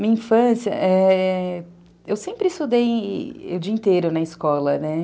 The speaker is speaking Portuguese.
Minha infância... Eu sempre estudei o dia inteiro na escola, né?